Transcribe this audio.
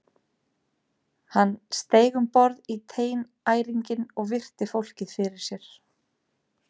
Hann steig um borð í teinæringinn og virti fólkið fyrir sér.